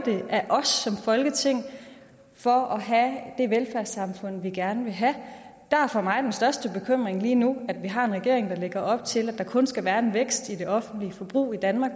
af os som folketing for at have det velfærdssamfund vi gerne vil have der er for mig den største bekymring lige nu at vi har en regering der lægger op til at der kun skal være en vækst i det offentlige forbrug i danmark